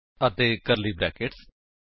ਅਤੇ curly brackets